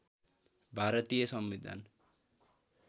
भारतीय संविधान